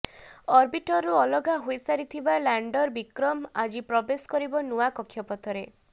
ଅର୍ବିଟରରୁ ଅଲଗା ହୋଇସାରିଥିବା ଲାଣ୍ଡର ବିକ୍ରମ ଆଜି ପ୍ରବେଶ କରିବ ନୂଆ କକ୍ଷ ପଥରେ